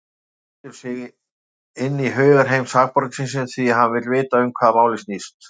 Hann setur sig inn í hugarheim sakborningsins, því hann vill vita um hvað málið snýst.